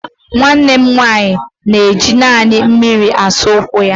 Nwanne m nwanyị ga-eji naanị mmiri na-asa ụkwụ ya.